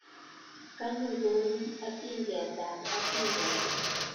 Kanyo ko u atindiot ab atindonik